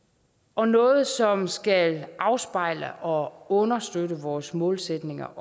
og noget som skal afspejle og understøtte vores målsætninger